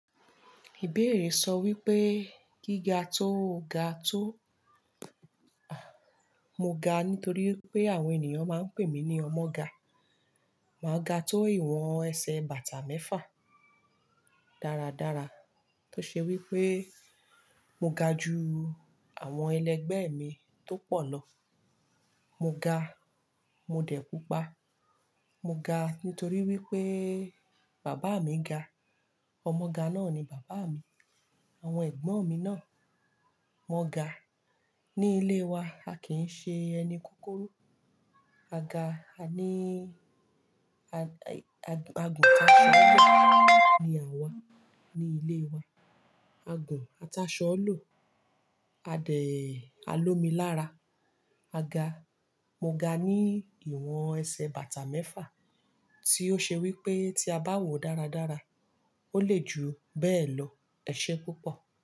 Ìbéèrè sọ wípé gíga tó ga tó, mo ga nítorí pé àwọn ènìyàn máa ń pè mí ní ọmọ ga. Màá ga tó ìwọ̀n ẹsẹ̀ bàtà mẹ́fà dáradára, tó ṣe wípé mo ga ju àwọn ẹlẹgbẹ́ mi tó pọ̀ lọ. Mo ga, mo dẹ̀ púpà. Mo ga nítorí wípé bàbá mi ga. Ọmọ ga náà ni bàbá mi. Àwọn ẹ̀gbọ́n mi náà, wọ́n ga. Ni ilé wa, a kì í ṣe ẹni kúkúrú. A ga, a ní, a-agun taṣọ-ọ-lò ni àwa ní ilé wa. Agun ataṣọ ọ lọ̀, adẹ̀ a lómì lára. A ga, mo ga ní ìwọ̀n ẹsẹ̀ bàtà mẹ́fà tí ó ṣe wípé tí a bá wòó dáradára, ó le ju bẹ́ẹ̀ lọ. Ẹ̀ṣé púpọ̀.